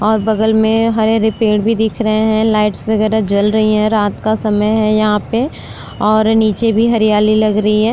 और बगल में हरे-हरे पेड़ भी दिख रहे हैं। लाइट्स वगैरह जल रही है। रात का समय है यहां पे और नीचे भी हरियाली लग रही है।